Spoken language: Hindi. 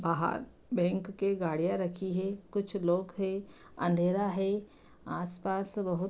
बाहर बैंक के गाड़ियाँ रखी हैं कुछ लोग हैं अँधेरा है आस-पास बहुत --